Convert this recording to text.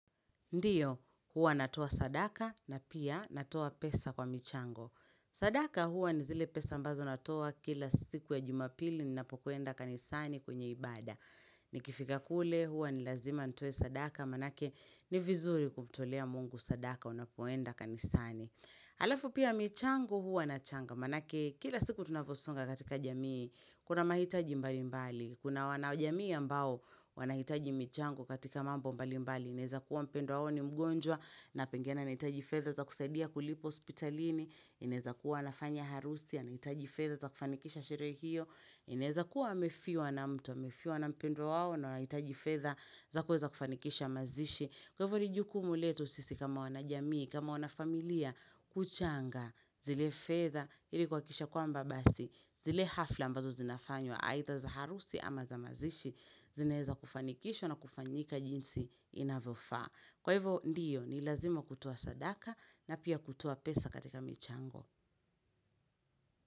Ndiyo, huwa natoa sadaka na pia natoa pesa kwa michango. Sadaka huwa ni zile pesa ambazo natoa kila siku ya jumapili ni napokuenda kanisani kwenye ibada. Ni kifika kule huwa ni lazima ntoe sadaka manake ni vizuri kumtolea mungu sadaka unapoenda kanisani. Alafu pia michango huwa na changa manake kila siku tunaposonga katika jamii kuna mahitaji mbali mbali. Kuna wanajamii ambao wanahitaji michango katika mambo mbali mbali, ineza kuwa mpendo wao ni mgonjwa, napengine na hitaji fedha za kusaidia kulipo hospitalini, inaeza kuwa nafanya harusi, anahitaji fedha za kufanikisha shirehe hio, inaeza kuwa amefiwa na mtu, amefiwa na mpendwa wao na wanahitaji fedha za kuweza kufanikisha mazishi. Kwa ivo nijukumu letu sisi kama wanajamii, kama wanafamilia, kuchanga, zile fedha, hili kuhakikisha kwamba basi zile hafla ambazo zinafanyo aidha za harusi ama za mazishi zineza kufanikisho na kufanyika jinsi inavofaa. Kwa hivyo ndiyo ni ilazima kutoa sadaka na pia kutoa pesa katika michango.